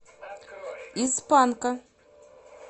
из панка